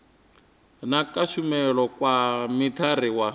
na kushumele kwa mithara wa